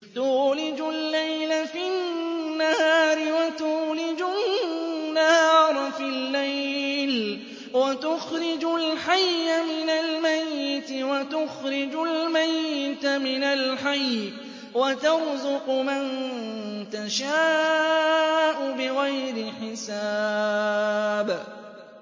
تُولِجُ اللَّيْلَ فِي النَّهَارِ وَتُولِجُ النَّهَارَ فِي اللَّيْلِ ۖ وَتُخْرِجُ الْحَيَّ مِنَ الْمَيِّتِ وَتُخْرِجُ الْمَيِّتَ مِنَ الْحَيِّ ۖ وَتَرْزُقُ مَن تَشَاءُ بِغَيْرِ حِسَابٍ